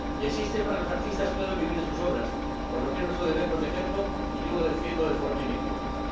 Y existen para los artistas puedan vivir de sus obras, por lo que es nuestro deber protegerlo, y yo lo defiendo de forma inequívoca.